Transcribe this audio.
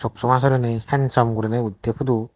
soksama sorey ni handsome guri utte photo bu.